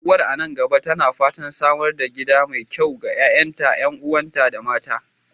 Uwar a nan gaba tana fatan samar da gida mai kyau ga ƴa'ƴanta, ƴan'uwanta, da mata.